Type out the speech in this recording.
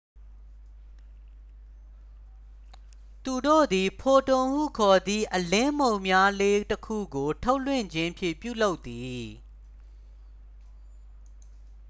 "သူတို့သည် "ဖိုတွန်""ဟုခေါ်သည့် အလင်းမှုန်မွှားလေးတစ်ခုကို ထုတ်လွှတ်ခြင်းဖြင့် ပြုလုပ်သည်။